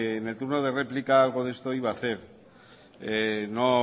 en el turno de réplica algo de esto iba a hacer